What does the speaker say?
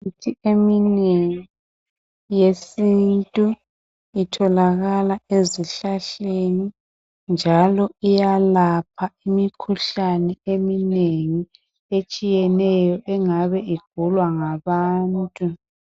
Imithi eminengi yesintu itholakala ezihlahleni njalo iyalapha imikhuhlane eminengi etshiyeneyo engabe igulwa ngabantu.